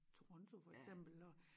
Toronto for eksempel og